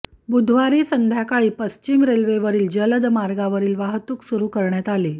बुधवारी संध्याकाळी पश्चिम रेल्वेवरील जलद मार्गावरील वाहतूक सुरू करण्यात आली